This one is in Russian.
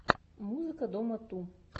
музыка дома ту